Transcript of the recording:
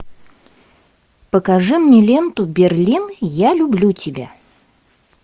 покажи мне ленту берлин я люблю тебя